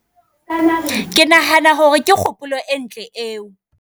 Ke nahana hore ke kgopolo entle eo.